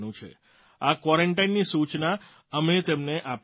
આ ક્વોરન્ટાઇનની સૂચના અમે તેમને આપીએ છીએ